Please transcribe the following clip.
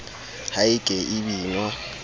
ha e ke e binwa